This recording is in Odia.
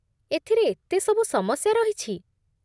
ଏଥିରେ ଏତେ ସବୁ ସମସ୍ୟା ରହିଛି